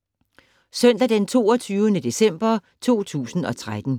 Søndag d. 22. december 2013